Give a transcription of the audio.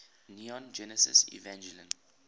neon genesis evangelion